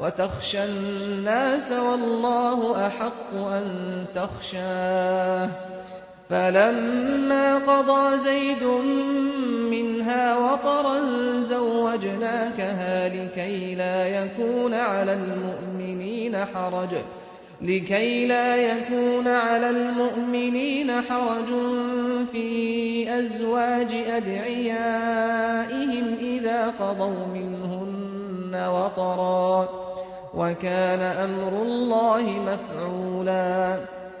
وَتَخْشَى النَّاسَ وَاللَّهُ أَحَقُّ أَن تَخْشَاهُ ۖ فَلَمَّا قَضَىٰ زَيْدٌ مِّنْهَا وَطَرًا زَوَّجْنَاكَهَا لِكَيْ لَا يَكُونَ عَلَى الْمُؤْمِنِينَ حَرَجٌ فِي أَزْوَاجِ أَدْعِيَائِهِمْ إِذَا قَضَوْا مِنْهُنَّ وَطَرًا ۚ وَكَانَ أَمْرُ اللَّهِ مَفْعُولًا